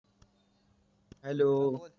hello